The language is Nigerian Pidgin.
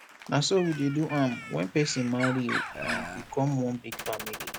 na so we dey do am wen person marry we become one big family